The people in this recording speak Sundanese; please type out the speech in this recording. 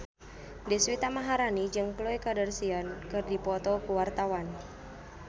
Deswita Maharani jeung Khloe Kardashian keur dipoto ku wartawan